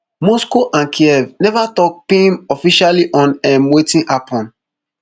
moscow and kyiv neva tok pim officially on um wetin happun